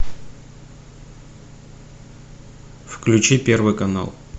включи первый канал